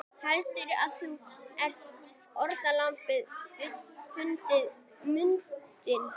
Heldur þú að fórnarlambið finni muninn?